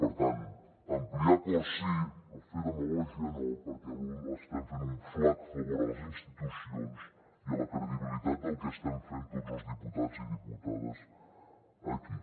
per tant ampliar acords sí però fer demagògia no perquè estem fent un flac favor a les institucions i a la credibilitat del que estem fent tots els diputats i diputades aquí